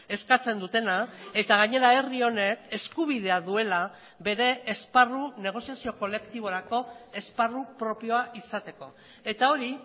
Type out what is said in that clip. eskatzen dutena eta gainera herri honek eskubidea duela bere esparru negoziazio kolektiborako esparru propioa izateko eta hori